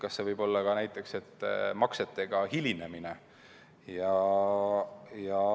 Kas see võib olla ka näiteks maksetega hilinemine?